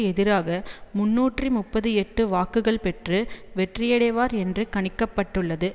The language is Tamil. எதிராக முன்னூற்று முப்பத்தி எட்டு வாக்குகள் பெற்று வெற்றியடைவார் என்று கணிக்க பட்டுள்ளது